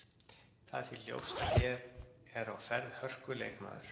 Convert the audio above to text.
Það er því ljóst að hér er á ferð hörku leikmaður.